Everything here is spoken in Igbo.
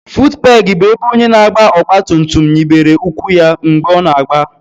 futupegi bụ ebe onye na-agba ọgba tum tum nyibere ụkwụ ya mgbe ọ na-agba